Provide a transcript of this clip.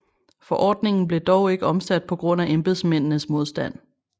Forordningen blev dog ikke omsat på grund af embedsmændenes modstand